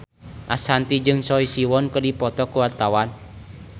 Ashanti jeung Choi Siwon keur dipoto ku wartawan